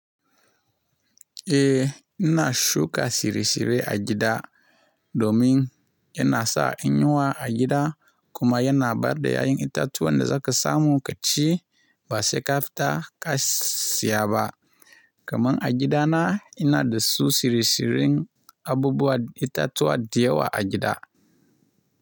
Eh ina shuka shirye-shirye a gida domin yana sa in yiwa a gida kuma yana bada yayan itatuwa da za ka samu kaci ba sai ka fita ka siya ba. Kaman a gidana ina da su shirye-shiryen abubuwa itatuwa da yawa a gida.